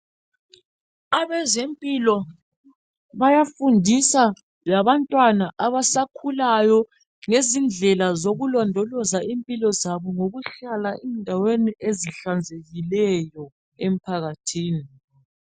Abezempilo bayafundisa labantwana abasakhulayo ngezindlela zokulondoloza impilo zabo ngokuhlala endaweni ezihlanzekileyo emphakathini.